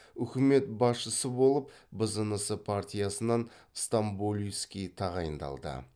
үкімет басшысы болып бзнс партиясынан стамболийский тағайындалды